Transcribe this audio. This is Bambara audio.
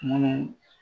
Munnu